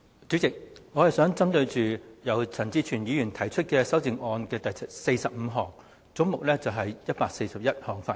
主席，我想針對陳志全議員就總目141項提出的第45項修正案發言。